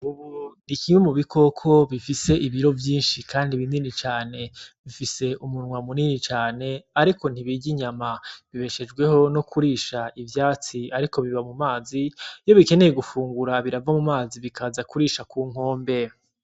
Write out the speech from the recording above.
Imvubu ni kimwe mu bikoko bifise ibiro vyinshi kandi binini cane, bifise umunwa munini cane ariko ntibirya inyama, bibeshejweho no kurisha ivyatsi ariko biba mu mazi, iyo bikeneye gufungura birava mu mazi bikaza kurisha ku nkombe .